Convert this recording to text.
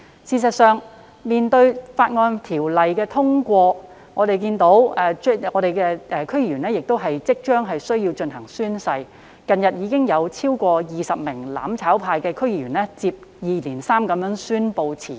事實上，《條例草案》通過在即，區議員即將須依法進行宣誓，近日已有超過20名"攬炒派"區議員相繼宣布辭職。